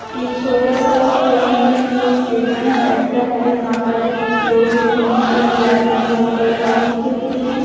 ये छोटा सा खेलने के लिये स्टेडियम टाइप हैं यहां पर लोग खेलने के लिए आते हैं यहाँ पर हॉकी खेलते हैं ।